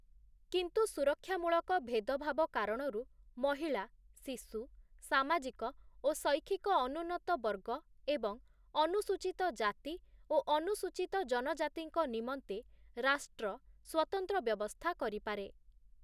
କିନ୍ତୁ ସୁରକ୍ଷା ମୂଳକ ଭେଦଭାବ କାରଣରୁ ମହିଳା, ଶିଶୁ, ସାମାଜିକ ଓ ଶୈକ୍ଷିକ ଅନୁନ୍ନତ ବର୍ଗ ଏବଂ ଅନୁସୂଚୀତ ଜାତି ଓ ଅନୁସୂଚୀତ ଜନଜାତିଙ୍କ ନିମନ୍ତେ ରାଷ୍ଟ୍ର ସ୍ଵତନ୍ତ୍ର ବ୍ୟବସ୍ଥା କରିପାରେ ।